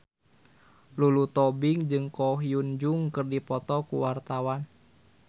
Lulu Tobing jeung Ko Hyun Jung keur dipoto ku wartawan